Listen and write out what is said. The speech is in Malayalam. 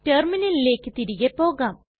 റ്റെർമിനലിലെക് തിരികെ പോകാം